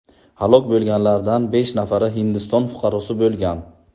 Halok bo‘lganlardan besh nafari Hindiston fuqarosi bo‘lgan.